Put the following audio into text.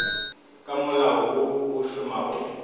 ka molao wo o šomago